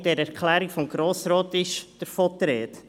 In der Erklärung des Grossen Rates ist die Rede davon.